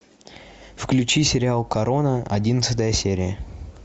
включи сериал корона одиннадцатая серия